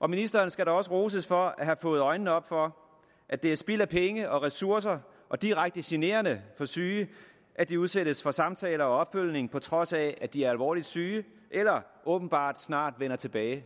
og ministeren skal da også roses for at have fået øjnene op for at det er spild af penge og ressourcer og direkte generende for syge at de udsættes for samtaler og opfølgning på trods af at de er alvorligt syge eller åbenbart snart vender tilbage